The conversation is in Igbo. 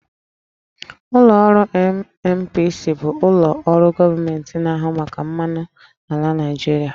Ụlọ ọrụ NNPC bụ ụlọ ọrụ gọọmenti na-ahụ maka mmanụ ala na Naịjirịa